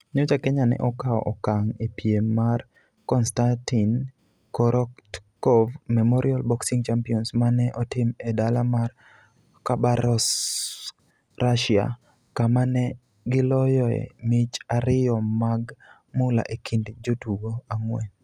Nyocha Kenya ne okawo okang' e piem mar Konstatin Korotkov Memorial Boxing Championships ma ne otim e dala mar Khabarovsk, Russia kama ne giloyoe mich ariyo mag mula e kind jotugo ang'wen.